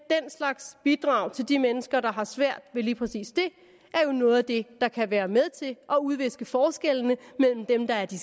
den slags bidrag til de mennesker der har svært ved lige præcis det er jo noget af det der kan være med til at udviske forskellene mellem dem der er de